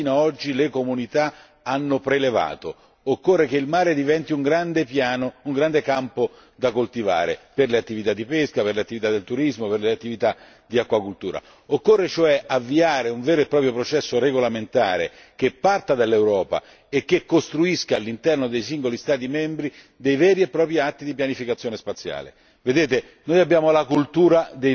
Il mare è una miniera nella quale fino ad oggi le comunità hanno prelevato, occorre che il mare diventi un grande campo da coltivare per le attività di pesca, per le attività del turismo, per le attività di acquacoltura. Occorre cioè avviare un vero e proprio processo regolamentare che parta dall'Europa e che costruisca all'interno dei singoli Stati membri dei veri e propri atti di pianificazione spaziale.